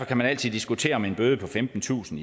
kan altid diskutere om en bøde på femtentusind